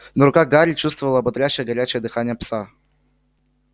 но рука гарри чувствовала ободряющее горячее дыхание пса